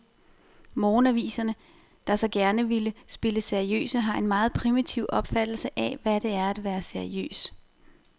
Morgenaviserne, der så gerne vil spille seriøse, har en meget primitiv opfattelse af, hvad det er at være seriøs.